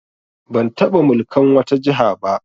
Ban taɓa mulkan wata jiha ba